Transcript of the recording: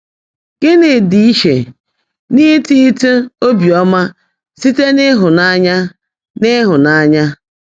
Gị́ní ḍị́ íchè n’ítítị́ óbíọ́mã síte n’ị́hụ́nányá nà ị́hụ́nányá?